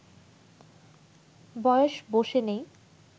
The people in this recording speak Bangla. বয়স বসে নেই